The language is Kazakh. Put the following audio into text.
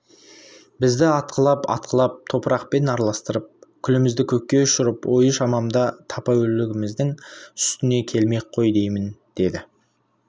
бізді атқылап-атқылап топырақпен араластырып күлімізді көкке ұшырып ойы шамамда тапа өлігіміздің үстіне келмек қой деймін деді